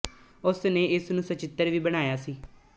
ਉਸ ਨੇ ਇਸ ਨੂੰ ਸਚਿਤਰ ਵੀ ਬਣਾਇਆ ਸੀ